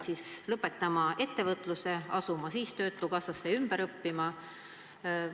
Kas nad peaksid ettevõtluse lõpetama ja asuma töötukassa kaudu ümber õppima?